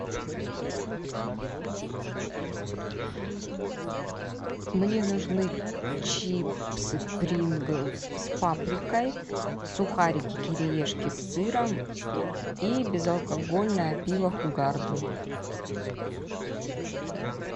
мне нужны чипсы принглс с паприкой сухарики кириешки с сыром и безалкогольное пиво хугарден